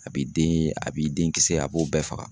A b'i den a b'i den kisɛ a b'o bɛɛ faga.